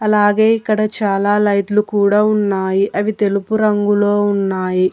అలాగే ఇక్కడ చాలా లైట్లు కూడా ఉన్నాయి అవి తెలుపు రంగులో ఉన్నాయి.